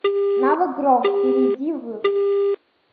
навык гром перейди в